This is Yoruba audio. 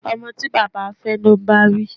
Ọmọ tí baba fẹ́ ló ń báwí